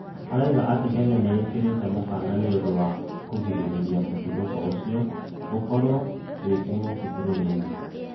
Araũga atĩ Kenya nĩĩkĩrĩte mũkana nĩũndũ wa kũgĩrĩrĩrĩa mũtũthũko ũcĩo gũkorwo wĩ kĩng'ũkĩ bũrũrĩnĩ